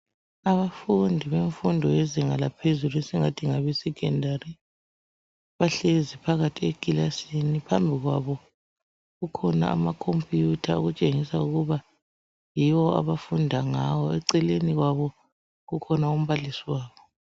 abafundi bemfundo yezinga laphezulu esingathi ngabe secondary bahlezi phakathi ekilasini phambi kwabo kukhona ama computer okutshengisa ukuba yiwo abafunda ngawo eceleni kwawo kukhona umbalisi wabo